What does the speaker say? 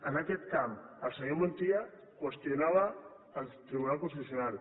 en aquest camp el senyor montilla qüestionava el tribunal constitucional